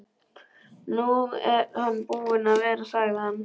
Nú er hann búinn að vera, sagði hann.